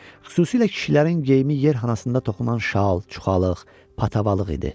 Xüsusilə kişilərin geyimi yer xanasında toxunan şal, çuxalıq, patavalıq idi.